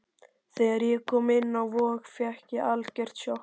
Þegar ég kom inn á Vog fékk ég algjört sjokk.